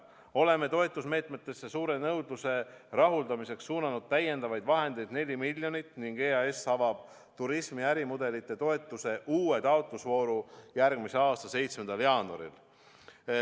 Oleme toetusmeetmeteks suure nõudluse rahuldamiseks suunanud täiendavaid vahendeid 4 miljonit eurot ning EAS avab turismi ärimudelite toetuse uue taotlusvooru järgmise aasta 7. jaanuaril.